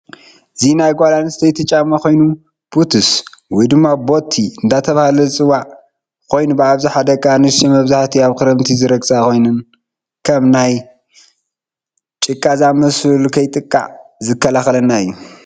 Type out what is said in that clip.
እዚ ናይ ጋል አንሲተይቲ ጫማ ኮይኑ ቡትስ ወይ ቦቲ እዳተበሃለ ዝፂዋዕ ኮይኑ ብአብዛሓ ደቂ አንስትዮ መብዛሓቲኡ አብ ከረምቲ ዝርገፀ ኮይኑ ከም ማይ ፣ጭቃ ዝመሰሉ ንከይንጥቃዕ ዝካላከለና እዩ።